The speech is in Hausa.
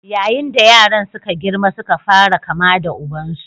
Yayin da yaran suka girma suka fara kama da ubansu.